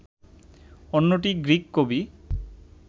অন্যটি গ্রিক কবি